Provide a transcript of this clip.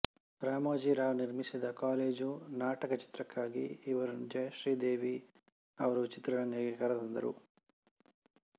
ರಾಮೋಜಿ ರಾವ್ ನಿರ್ಮಿಸಿದ ಕಾಲೇಜು ನಾಟಕ ಚಿತ್ರಕ್ಕಾಗಿ ಇವರನ್ನು ಜಯಶ್ರೀ ದೇವಿ ಅವರು ಚಿತ್ರರಂಗಕ್ಕೆ ಕರೆತಂದರು